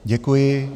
Děkuji.